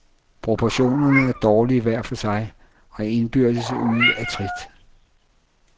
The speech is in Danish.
Proportionerne er dårlige hver for sig, og er indbyrdes ude af trit.